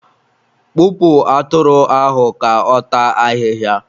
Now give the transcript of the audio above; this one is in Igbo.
kpụpụ atụrụ ahụ ka ọ taa ahịhịa!